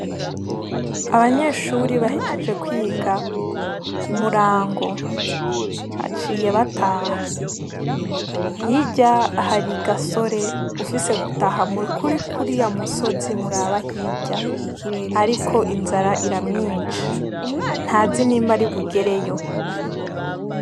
Abanyeshuri bahejeje kwiga ku murango aciye bataha hirya hari i gasore ufise gutaha mukuri kuri ya musozi muraba hirya, ariko inzara ira myinsi nta zi nimba ari bugereyo.